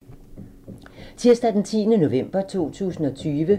Tirsdag d. 10. november 2020